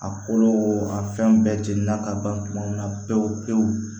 A kolo a fɛn bɛɛ jeni na ka ban kuma min na pewu pewu